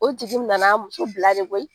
O tigi tun nana a muso bila de koyi